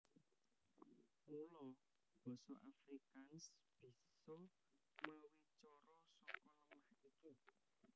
Mula basa Afrikaans bisa mawicara saka lemah iki